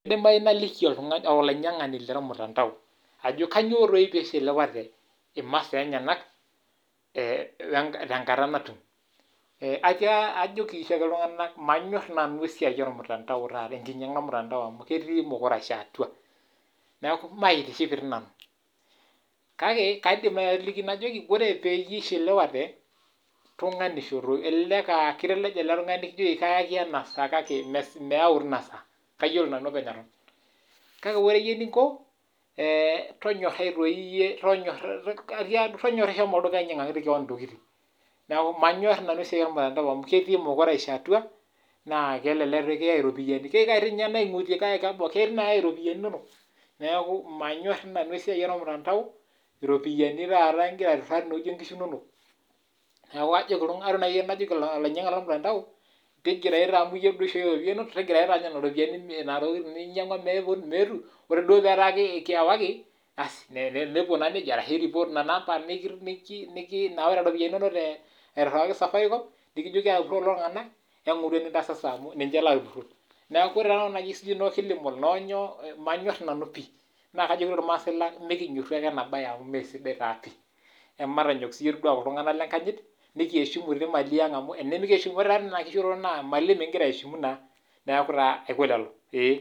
Kaidim naliki iltungana oitumia mtandao atiaki kelo ake neishiliwa imasaa enye. Ore sababu na ketii esiai emukurasho aashu loopeny doi le mtandao ogira apur iltungana.